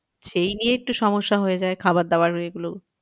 সেই নিয়ে একটু সমস্যা হয়ে যায় খাবার দাবার এগুলো,